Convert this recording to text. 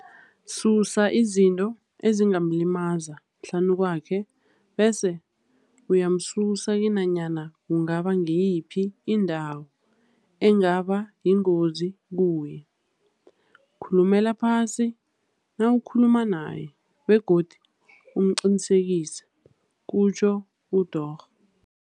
Susa izinto ezingamlimaza hlanukwakhe bese uyamsusa kinanyana kungaba ngiyiphi indawo engaba yingozi kuye. Khulumela phasi nawukhuluma naye, begodu umqinisekise, kutjho uDorh.